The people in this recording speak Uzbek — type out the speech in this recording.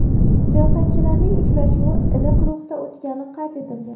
Siyosatchilarning uchrashuvi iliq ruhda o‘tgani qayd etilgan.